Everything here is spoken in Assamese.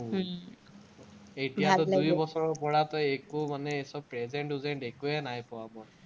এতিয়া বছৰৰপৰা তো একো মানে এই চব present উজেন্ট একোৱে নাই পোৱা মই।